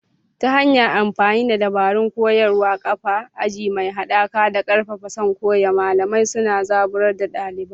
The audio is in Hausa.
Ta hanyar amfani da dabarun koyarwa, kafa aji mai haɗaka, da ƙarfafa son koyo, malamai suna zaburar da ɗaliban su.